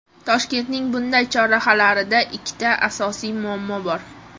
Toshkentning bunday chorrahalarida ikkita asosiy muammo bor.